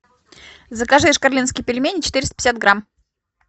закажи шкарленские пельмени четыреста пятьдесят грамм